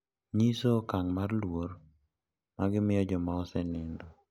Nyiso okang` mar luor magimiyo joma osenindo.